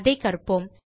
அதை கற்போம்